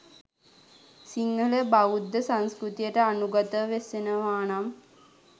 සිංහල බෞද්ධ සංස්කෘතියට අනුගතව වෙසෙනවානම්